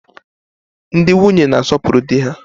Ndị nwunye na-asopuru di ha.